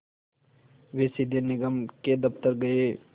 वे सीधे निगम के दफ़्तर गए